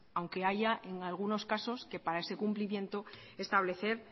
aunque haya en algunos casos que para ese cumplimiento establecer